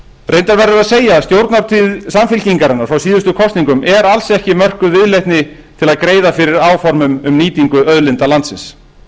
reyndar verður að segja að stjórnartíð samfylkingarinnar frá síðustu kosningum er alls ekki mörkuð viðleitni til að greiða fyrir áformum um nýtingu auðlinda landsins